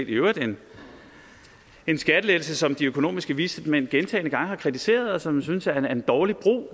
i øvrigt en skattelettelse som de økonomiske vismænd gentagne gange har kritiseret og som jeg synes er en dårlig brug